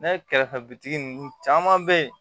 Ne kɛrɛfɛ bitigi ninnu caman bɛ yen